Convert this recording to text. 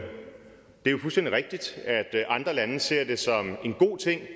fuldstændig rigtigt at andre lande ser det som en god ting